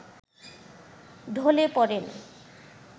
ঢলে পড়েন